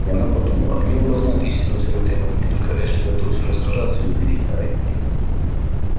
и она подумала они оба знают истинную цену этой войне только эшли готов все же сражаться и умереть а ретт нет